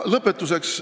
Lõpetuseks.